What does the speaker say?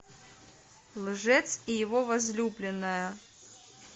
лжец и его возлюбленная